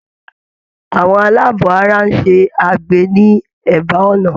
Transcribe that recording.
Àwọn aláàbọ̀ ara ń ṣe agbe ní ẹ̀bá ọ̀nà.